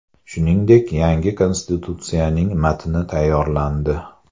Shuningdek, yangi konstitutsiyaning matni tayyorlandi.